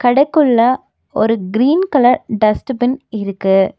கடெக்குள்ள ஒரு green colour dustbin இருக்கு.